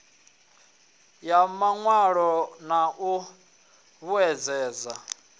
ya mawalo na u vhuedzedza